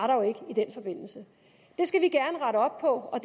der jo ikke i den forbindelse det skal vi gerne rette op på